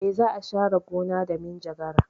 E, za a share gona da minjagara.